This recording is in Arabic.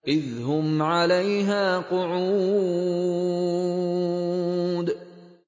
إِذْ هُمْ عَلَيْهَا قُعُودٌ